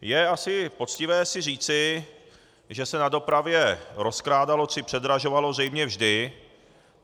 Je asi poctivé si říci, že se na dopravě rozkrádalo či předražovalo zřejmě vždy.